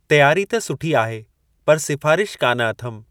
तियारी त सुठी आहे, पर सिफारिश कान अथमि।